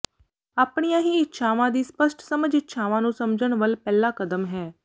ਆਪਣੀਆਂ ਹੀ ਇੱਛਾਵਾਂ ਦੀ ਸਪੱਸ਼ਟ ਸਮਝ ਇੱਛਾਵਾਂ ਨੂੰ ਸਮਝਣ ਵੱਲ ਪਹਿਲਾ ਕਦਮ ਹੈ